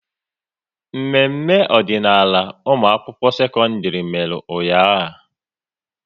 Mmemme ọdịnaala ụmụakwụkwọ sekọndịrị mere ụnyaahụ